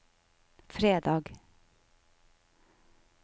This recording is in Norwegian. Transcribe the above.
fredag